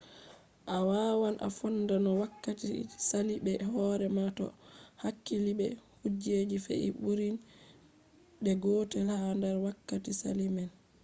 a wawan a fonda no wakkati sali be hore ma to a hakkili be kujeji fe’i ɓurin de gotel ha nder wakkati sali man